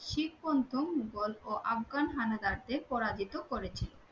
শিখ প্রথম মোঘল ও আফগান হানাদারদের পরাজিত করেছিল